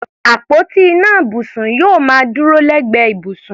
Àpótí ìná ibùsùn yóò máa dúró lẹ́gbẹ̀ẹ́ ibùsùn.